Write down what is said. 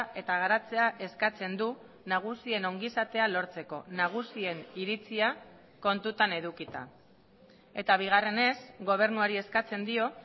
eta garatzea eskatzen du nagusien ongizatea lortzeko nagusien iritzia kontutan edukita eta bigarrenez gobernuari eskatzen dio